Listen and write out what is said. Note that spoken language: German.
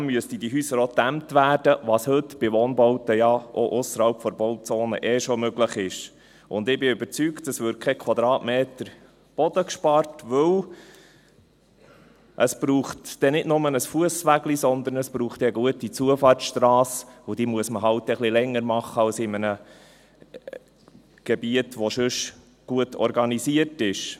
Zudem müssten diese Häuser auch gedämmt werden, was heute bei Wohnbauten ja auch ausserhalb der Bauzonen ohnehin schon möglich ist, und ich bin überzeugt – es würde kein Quadratmeter Boden gespart, denn es braucht dann nicht nur einen kleinen Fussweg, sondern es braucht dann eine gute Zufahrtsstrasse, und diese muss man dann halt ein wenig länger machen als in einem Gebiet, das sonst gut organisiert ist.